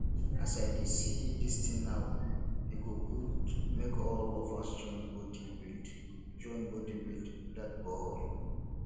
as i dey see dis tin now e go good make all of us join body build join body build dat borehole